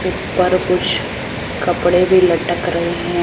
ऊपर कुछ कपड़े भी लटक रहे--